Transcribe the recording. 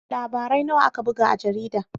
Labarai nawa aka buga a jaridar?